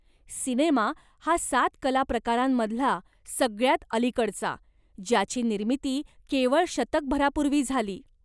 Cinema हा सात कलाप्रकारांमधला सगळ्यांत अलीकडचा, ज्याची निर्मिती केवळ शतकभरापूर्वी झाली.